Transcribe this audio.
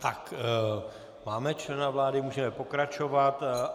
Tak, máme člena vlády, můžeme pokračovat.